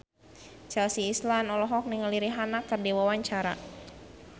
Chelsea Islan olohok ningali Rihanna keur diwawancara